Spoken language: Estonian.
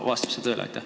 Vastab see tõele?